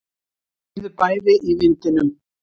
Þau heyrðu bæði í vindinum.